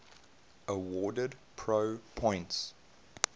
awarded pro points